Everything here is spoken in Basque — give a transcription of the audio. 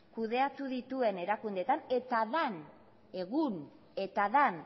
kudeatu dituen erakundeetan eta den